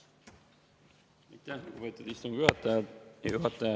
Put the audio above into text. Aitäh, lugupeetud istungi juhataja!